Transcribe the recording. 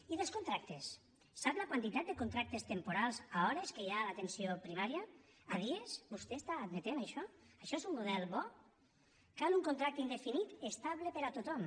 i dels contractes sap la quantitat de contractes temporals a hores que hi ha a l’atenció primària a dies vostè està admetent això això és un model bo cal un contracte indefinit estable per a tothom